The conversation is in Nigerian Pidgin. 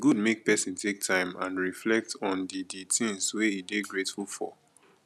e good make pesin take time and reflect on di di things wey e dey grateful for